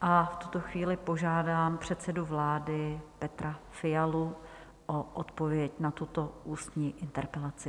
a v tuto chvíli požádám předsedu vlády Petra Fialu o odpověď na tuto ústní interpelaci.